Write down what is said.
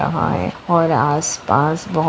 यहा है और आस पास बो --